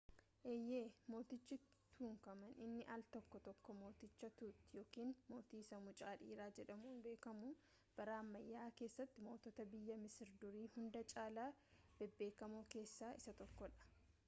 eeyyee mootichi tutankhamun inni aal tokko tokko mooticha tut yookaan mootii isa mucaa dhiiraa jedhamuun beekamu bara ammayyaa keessatti mootota biyya masir durii hunda caalaa bebbeekamoo keessaa isa tokkodha